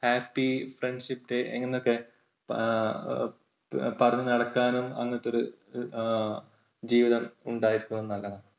happy friendship day എന്നൊക്കെ എഹ് പറഞ്ഞു നടക്കാനും അങ്ങനത്തെ ഒരു എഹ് ജീവിതം ഉണ്ടായിരിക്കുന്നതു നല്ലതാണ്.